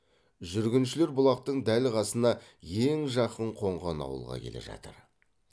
жүргіншілер бұлақтың дәл қасына ең жақын қонған ауылға келе жатыр